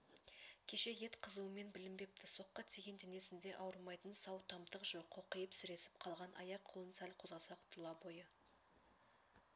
кеше ет қызуымен білінбепті соққы тиген денесінде ауырмайтын сау тамтық жоқ қоқиып сіресіп қалған аяқ-қолын сәл қозғаса тұлабойы